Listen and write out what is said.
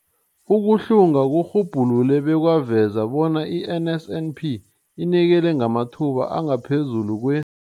Ukuhlunga kurhubhulule bekwaveza bona i-NSNP inikela ngamathuba angaphezulu kwe-